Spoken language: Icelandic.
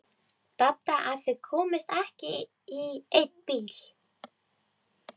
Dadda að þau komust ekki í einn bíl.